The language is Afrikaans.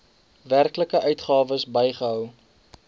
werklike uitgawes bygehou